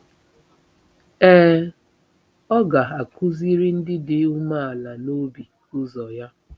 Ee, “ ọ ga-akụziri ndị dị umeala n’obi ụzọ ya.